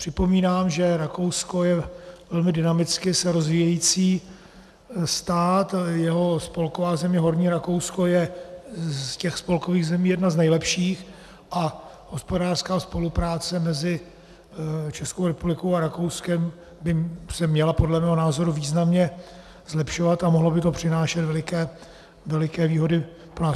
Připomínám, že Rakousko je velmi dynamicky se rozvíjející stát, jeho spolková země Horní Rakousko je z těch spolkových zemí jedna z nejlepších a hospodářská spolupráce mezi Českou republikou a Rakouskem by se měla podle mého názoru významně zlepšovat a mohlo by to přinášet veliké výhody pro nás.